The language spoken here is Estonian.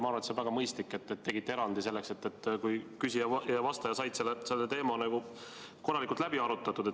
Ma arvan, et on väga mõistlik, et te tegite erandi, selleks et küsija ja vastaja saaksid teema korralikult läbi arutatud.